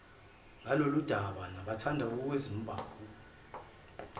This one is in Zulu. ngaloludaba nabathanda ukuzimbandakanya